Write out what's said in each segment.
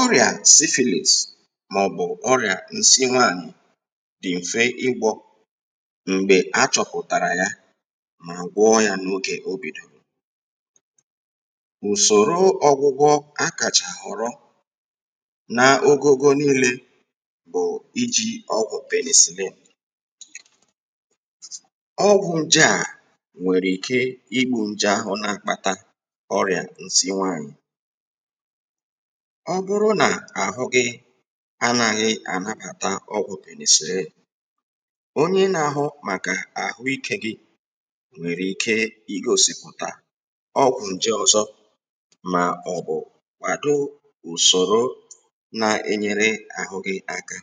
ọrịà syphilis mà ọ̀bụ̀ ọrịà ǹsi nwaanyị̀ dị̀ m̀fe ịgwọ m̀gbè achọpụ̀tàrà yā mà gwọ yā n’ogè obìdòrò ùsòro ọ̀gwụgwọ a kàchà họ̀rọ n’ogogo niile bụ̀ iji ọgwụ̀ penicillin ọgwụ̀ ǹje à nwèrè ike igbu ǹje ahụ̀ n’akpata orịa ǹsi nwaanyị ọbụrụ n’àhụ gị anaghị ànabàta ọgwụ̀ penicillin onye n’ahụ màkà àhụ ike gị nwèrè ike igosìpùtà ọgwụ̀ ǹje ọzọ mà ọ̀bụ̀ kwàdo ùsòro n’enyerụ àhụ gị aka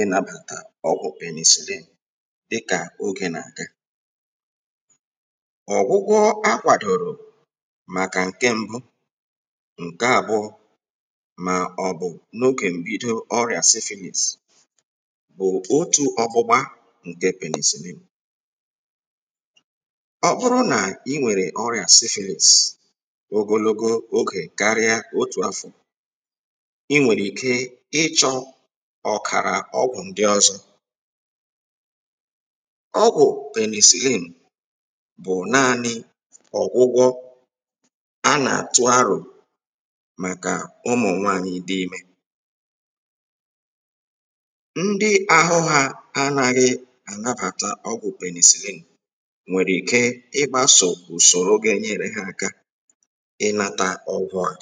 ịnàbàtà ọgwụ̀ penicillin dịkà ogè nà-àga ọ̀gwụgwọ akwàdòrò màkà ǹke m̀bụ ǹke àbụ̀ọ mà ọ̀bụ̀ n’ogè mbido ọrịà syphilis bụ otù ọgbụgba ǹke penicillin ọbụrụ n’inwèrè ọrịa syphilis ogologo ogè karịa otù afọ̀ inwèrè ike ịchọ ọ̀kàrà ọgwụ̀ ndị ọ̀zọ ọgwụ̀ penicillin bụ̀ naani ọ̀gwụgwọ a nà-àtu arò màkà ụmụ̀nwaanyị dị imē ndị àhụ ha anaghị ànabàta ọgwụ̀ penicillin nwèrè ike igbasò ùsòrò ga enyeru ha aka ị nata ọgwụ̀ à